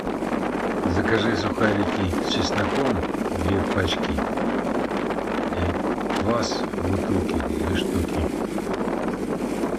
закажи сухарики с чесноком две пачки квас бутылки две штуки